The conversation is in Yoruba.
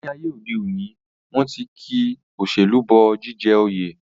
Ní ayé òde òní, wọ́n ti ki òṣèlú bọ jíjẹ oyè